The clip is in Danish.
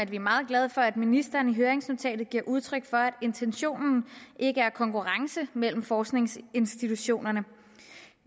vi er meget glade for at ministeren i høringsnotatet giver udtryk for at intentionen ikke er konkurrence mellem forskningsinstitutionerne